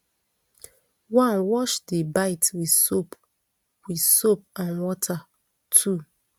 one wash di bite wit soap wit soap and water two